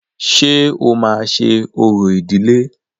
Ṣé o máa ṣe orò ìdiĺé?